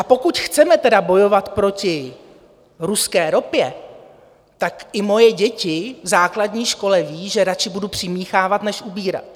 A pokud chceme tedy bojovat proti ruské ropě, tak i moje děti v základní škole ví, že radši budu přimíchávat než ubírat.